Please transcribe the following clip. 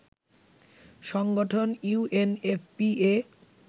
সংগঠন ইউএনএফপিএ